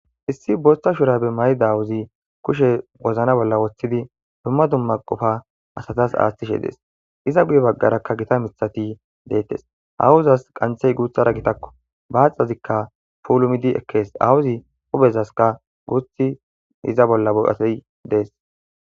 issi boosta shurabe may7i dawuzi kushe wozna bolla woththidi dumma dumma qofa asatas aaththishe dees iza guye baggarakka gita mithati deettes awuuzas qanthey guuthara gitakko baaxazikka puulumidi ekkees awuzi huphezaska guuthi iza bolla boatey dees